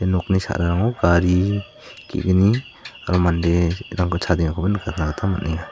ia nokni sa·rarango gari ge·gni aro manderangko chadengakoba nikatna gita man·enga.